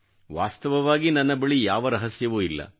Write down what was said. ವಾಸ್ತವವಾಗಿ ನನ್ನ ಬಳಿ ಯಾವ ರಹಸ್ಯವೂ ಇಲ್ಲ